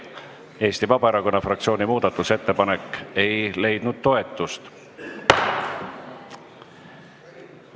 Eesti Vabaerakonna fraktsiooni muudatusettepanek ei leidnud toetust.